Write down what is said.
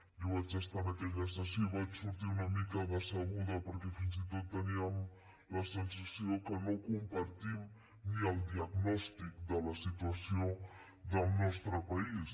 jo vaig estar en aquella sessió i vaig sortir una mica decebuda perquè fins i tot teníem la sensació que no compartim ni el diagnòstic de la situació del nostre país